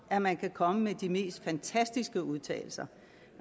at man kan komme med de mest fantastiske udtalelser